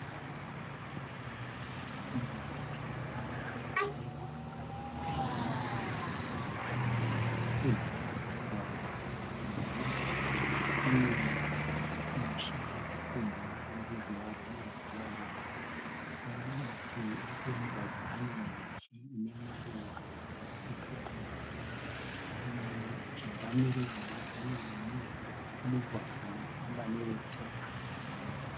Mugwagwa wetara une motokari mbiri dziri kupesana. Nechemhiri kwemugwagwa nemhiri kune misha yakakombwa neruzhowa rwema"durawall'. Mumativi ose emugwagwa ane miti ine maruva epepo. Mujinga meruzhowa rumwe mune mugwagwa unofamba newetsoka.